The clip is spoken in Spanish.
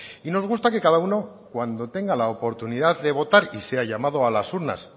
y nos gusta que cada uno cuando tenga la oportunidad de votar y sea llamado a las urnas